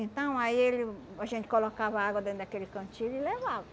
Então, aí ele uh a gente colocava água dentro daquele cantil e levava.